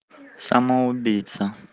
самоубийца